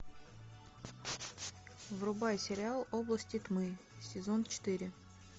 врубай сериал области тьмы сезон четыре